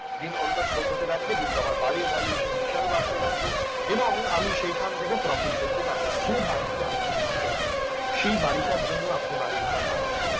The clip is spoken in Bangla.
দিন অন্তত শোধ হতে থাকবে এবং আমার বাড়ির valuation বাড়তে থাকবে এবং আমি ওখান থেকে profit করতে পারব যে বাড়িতে আপনি থাকেন সেই বাড়িটার জন্য আপনি বাড়ি ভাড়া পান না